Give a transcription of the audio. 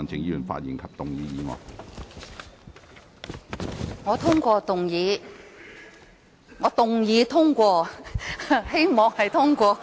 主席，我通過動議......該說我動議通過，我也希望會通過。